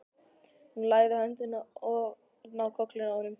Hún lagði höndina ofan á kollinn á honum.